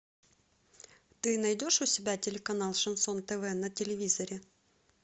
ты найдешь у себя телеканал шансон тв на телевизоре